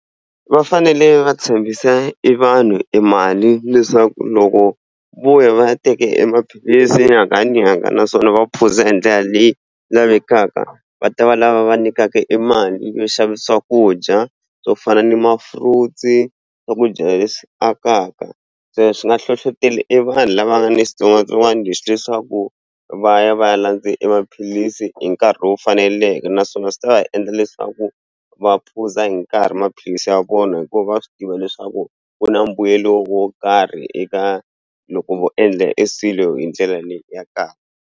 Va fanele va tshembisa i vanhu i mali leswaku loko vo ya va ya teke emaphilisi nyangha ni nyangha naswona va phuza hi ndlela leyi lavekaka va ta va lava va nyikaka i mali yo xava swakudya swo fana ni mafuta ni swakudya leswi akaka se swi nge hlohloteli i vanhu lava nga ni xitsongwatsongwana lexi leswaku va ya va ya landza emaphilisi hi nkarhi lowu faneleke naswona swi ta endla leswaku va phuza hi nkarhi maphilisi ya vona hikuva va swi tiva leswaku ku na mbuyelo wo karhi eka loko vo endla eswilo hi ndlela leyi ya kahle.